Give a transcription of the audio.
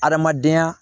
Adamadenya